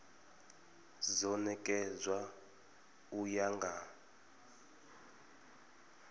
do nekedzwa u ya nga